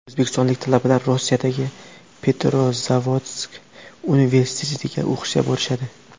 O‘zbekistonlik talabalar Rossiyadagi Petrozavodsk universitetiga o‘qishga borishadi.